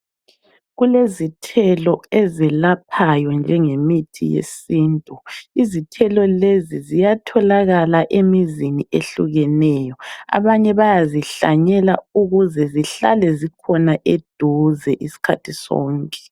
Kulezithelo ezelaphayo njengemithi yesintu. Izithelo lezi ziyatholakala emizini ehlukeneyo. Abanye bayazihlanyela ukuze zihlale zikhona eduze iskhathi sonke.